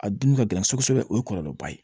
A dun ka gɛlɛn kosɛbɛ o ye kɔlɔlɔba ye